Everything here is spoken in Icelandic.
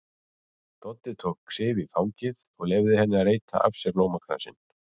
Doddi tók Sif í fangið og leyfði henni að reyta af sér blómakransinn.